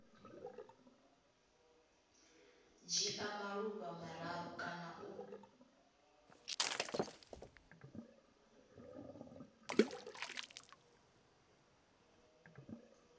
dzhia maḓuvha mararu kana u